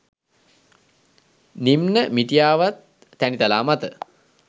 නිම්න මිටියාවත් තැනිතලා මත